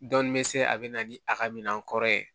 Dɔn bɛ se a bɛ na ni a ka minan kɔrɔ ye